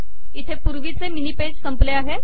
इथे पूर्वीचे mini page संपले आहे